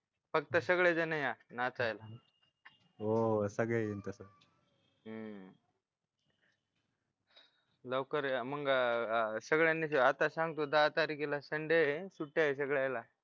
फक्त सगळेजण या नाचायला हो सगळे येऊ लवकर या मग सगळ्यांना आताच सांगतो दहा तारखेला संडे आहे सुट्ट्या आहे सगळ्यांना